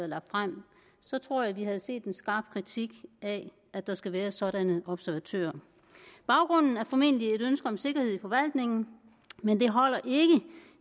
lagt frem tror jeg vi havde set en skarp kritik af at der skal være sådanne observatører baggrunden er formentlig et ønske om sikkerhed i forvaltningen men det holder ikke